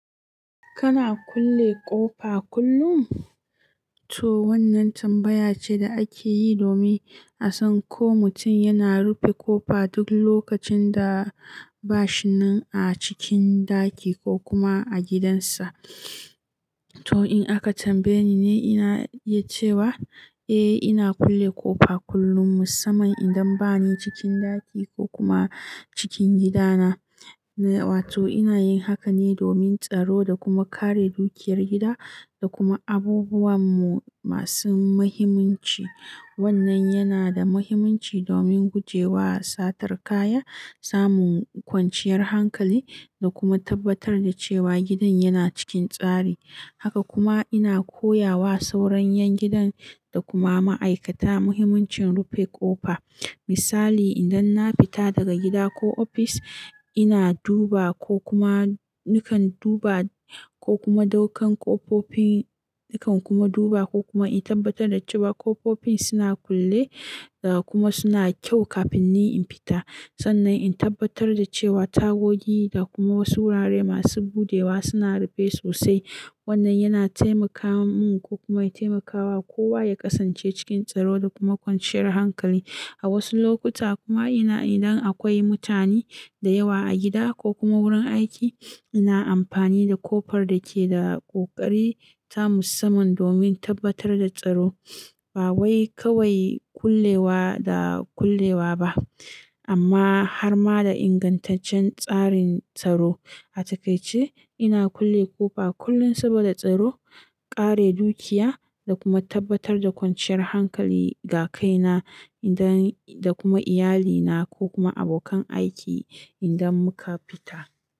Kana kulle ƙofa kullum? To wannan tambaya ce da ake yi domin a san ko mutum yana rufe ƙofa duk lokacin da ba shi nan a cikin ɗaki ko kuma a gidansa. To in aka tambaye ni ne, ina iya cewa eh ina kulle ƙofa kullum musamman idan ba ni cikin ɗaki ko kuma cikin gidana. Na, wato ina yin haka ne domin tsaro da kuma kare dukiyar gida da kuma abubuwanmu masu muhimmanci. Wannan yana da muhimmanci domin guje wa satar kaya, samun kwanciyar hankali da kuma tabbatar da cewa gidan yana cikin tsari. Haka kuma ina koya wa sauran 'yan gidan da kuma ma'aikata muhimmancin rufe ƙofa. Misali, idan na fita daga gida ko ofis, ina duba ko kuma nikan duba ko kuma daukan ƙofofi nikan kuma duba ko kuma in tabbatar da cewa ƙofofin suna kulle da kuma suna kyau kafin ni in fita. Sannan in tabbatar da cewa tagogi da kuma wasu wurare masu buɗewa suna rufe sosai. Wannan yana taimaka mun ko kuma ya taimakawa kowa ya ƙasance cikin tsaro da kuma kwanciyar hankali. A wasu lokuta kuma ina idan akwai mutane da yawa a gida ko kuma wurin aiki, ina amfani da ƙofar da ke da ƙoƙari ta musamman domin tabbatar da tsaro. Ba wai kawai kullewa da kullewa ba, amma har ma da ingantaccen tsarin tsaro. A takaice ina kulle ƙofa kullum saboda tsaro, kare dukiya da kuma tabbatar da kwanciyar hankali ga kaina idan da kuma iyalina ko kuma abokan aiki idan muka fita.